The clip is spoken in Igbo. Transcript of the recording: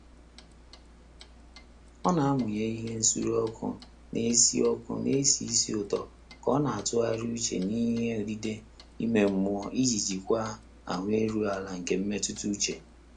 Ọ́ nà-àmụ́nyé ìhè nsùré ọ́kụ́ nà-ésí ọ́kụ́ nà-ésí ísì ụ́tọ́ kà ọ́ nà-àtụ́ghàrị́ úchè n’íhé ódídé ímé mmụ́ọ́ ìjí jíkwáá áhụ́ érúghị́ álá nké mmétụ́tà úchè.